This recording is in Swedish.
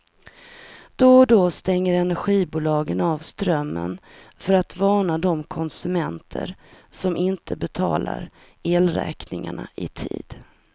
Då och då stänger energibolagen av strömmen för att varna de konsumenter som inte betalar elräkningarna i tid.